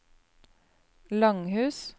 Langhus